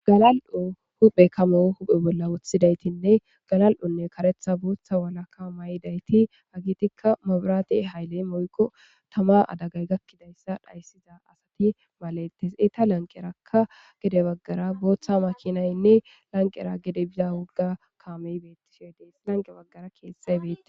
Galal7o huuphe kamo huuphe bolla woththidaythi galal7onne karetha bootha walaka mayidaythi hagethikka mabrathe hayle woykko thamaa adagay gakkidayssa malethes; eetha lanqerakka gede baggara booththa maakinaynne lanqqera gede bida wogga kaamee beeththishe de7ees;lanqqe baggara keeththay beeththees.